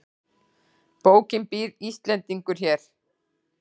Bókin Býr Íslendingur hér?